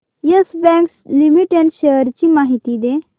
yes Bank Limited shares ची माहिती दे